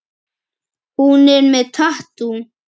Hún er með tattú.